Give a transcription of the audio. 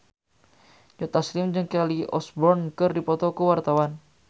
Joe Taslim jeung Kelly Osbourne keur dipoto ku wartawan